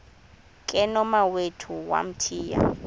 ke nomawethu wamthiya